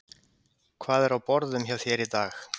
Brynja Þorgeirsdóttir: Hvað er á borðum hjá þér í dag?